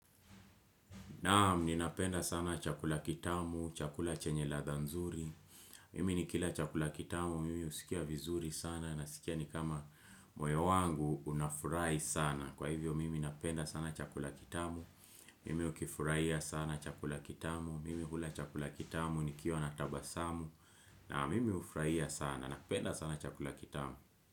Naam, ninapenda sana chakula kitamu, chakula chenye ladhaa nzuri. Mimi nikila chakula kitamu, mimi husikia vizuri sana naskia ni kama moyo wangu, unafurahi sana. Kwa hivyo, mimi napenda sana chakula kitamu, mimi hukifurahia sana chakula kitamu, mimi hula chakula kitamu, nikiwa na tabasamu, na mimi hufurahia sana, napenda sana chakula kitamu.